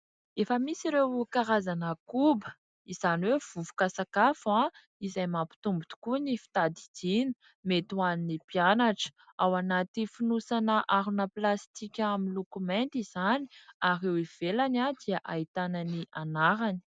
Efa misy ireo karazana koba, izany hoe vovoka sakafo izay mampitombo tokoa ny fitadidiana mety ho an'ny mpianatra. Ao anaty fonosana harona plastika miloko mainty izany ary eo ivelany dia ahitana ny anarany.